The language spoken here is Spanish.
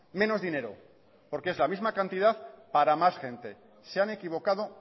menos dinero porque es la misma cantidad para más gente se han equivocado